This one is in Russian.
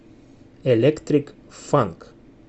электрик фанк